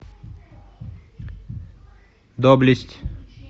доблесть